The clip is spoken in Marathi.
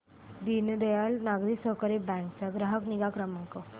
दीनदयाल नागरी सहकारी बँक चा ग्राहक निगा क्रमांक